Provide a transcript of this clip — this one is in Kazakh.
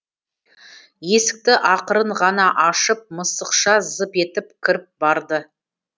есікті ақырын ғана ашып мысықша зып етіп кіріп барды